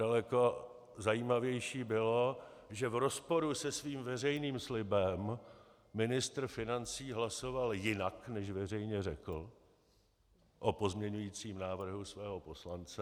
Daleko zajímavější bylo, že v rozporu se svým veřejným slibem ministr financí hlasoval jinak, než veřejně řekl, o pozměňovacím návrhu svého poslance.